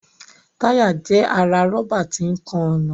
Táyà jẹ́ ara rọ́bà tí ń kan ọ̀nà